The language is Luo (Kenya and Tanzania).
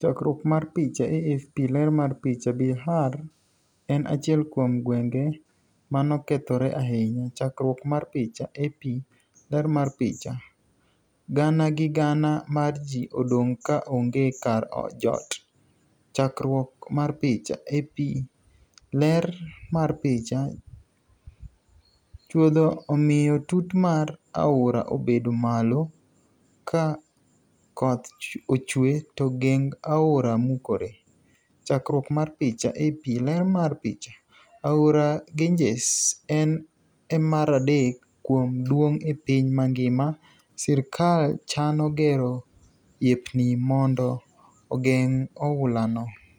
Chakruok mar picha, AFP. Ler mar picha, Bihar en achiel kuom gwenge manokethore ahinya. Chakruok mar picha, AP. Ler mar picha. Gana gi gana mar ji odong' ka onge kar jot. Chakruok mar picha, AP.Ler mar picha. Chuodo omiyo tut mar aora obedo malo ka ka koth ochwe to geng aora mukore. Chakruok mar picha, AP. Ler mar picha, Aora Ganges en e maradek kuom duong' e piny mangima. Sirkal chano gero yepni mondo ogeng' oula no